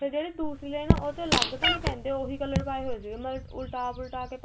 ਜਿਹੜੀ ਦੂਸਰੀ ਲਾਈਨ ਏ ਉਹਚੋ ਅਲੱਗ ਤਾ ਨਹੀਂ ਪੈਂਦੇ ਉਹੀ colour ਪਾਏ ਹੋਏ ਉਹਨਾ ਨੇ ਉਲਟਾ ਪੁਲਟਾ